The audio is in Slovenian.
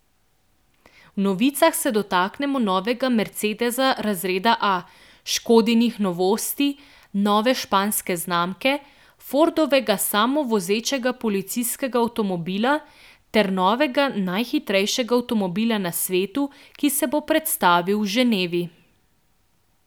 V novicah se dotaknemo novega mercedesa razreda A, Škodinih novosti, nove španske znamke, Fordovega samovozečega policijskega avtomobila ter novega najhitrejšega avtomobila na svetu, ki se bo predstavil v Ženevi.